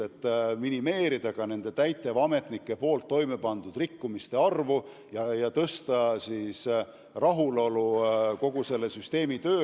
Me soovime minimeerida täitevametnike toime pandud rikkumiste arvu ja suurendada rahulolu kogu selle süsteemi tööga.